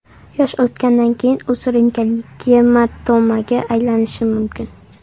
Yosh o‘tgandan keyin u surunkali gematomaga aylanishi mumkin.